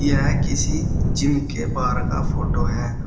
यह किसी जिम के बाहर का फोटो है।